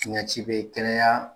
Tiɲɛ ci bɛ kɛnɛya